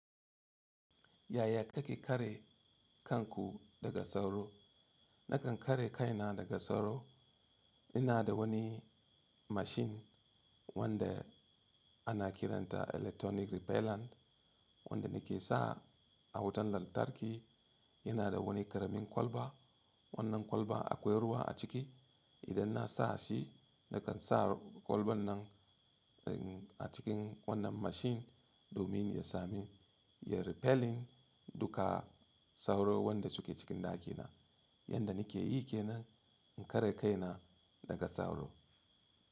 Yaya kake kare kanku daga sauro? Nakan kare kaina daga sauro. Ina da wani mashin wanda ana kiranta electronic repellant wanda nake sa a wutan lantarki. Yana da wani ƙaramin kwalba. Wannan kwalba akwai ruwa a ciki. Idan na sa shi, nakan sa kwalban nan a cikin wannan mashin domin ya sami, ya repelling duka sauro wanda suke cikin ɗakina. Yanda nike yi kenan, in kare kaina daga sauro.